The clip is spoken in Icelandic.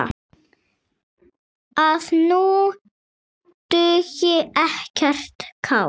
að nú dugi ekkert kák!